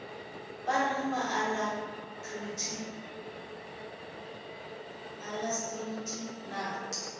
ba reng ba alacrity na